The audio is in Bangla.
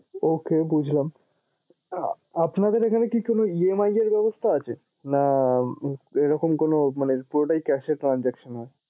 ok বুঝলাম আহ আপনাদের এখানে কি কোনো EMI এর ব্যাবস্থা আছে না ঐরকম কোনো পুরোটাই cash এ transaction এ